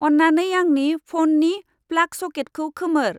अन्नानै आंनि फौननि प्लाग सकेतखौ खोमोर।